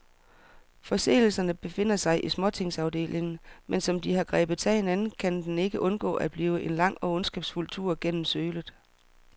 Forseelserne befinder sig i småtingsafdelingen, men som de har grebet sagen an, kan den ikke undgå at blive en lang og ondskabsfuld tur gennem sølet.